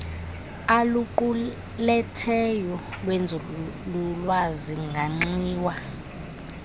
aluquletheyo lwenzululwazi manxiwa